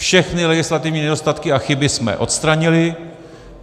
Všechny legislativní nedostatky a chyby jsme odstranili.